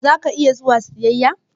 Za ka iya zuwa siyaƴa?